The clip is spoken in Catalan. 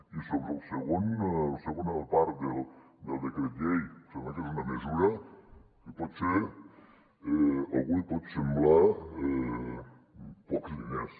i sobre la segona part del decret llei sembla que és una mesura que potser a algú li pot semblar de pocs diners